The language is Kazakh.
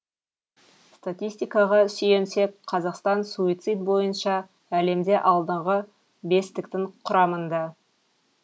статистикаға сүйенсек қазақстан суицид бойынша әлемде алдыңғы бестіктің құрамында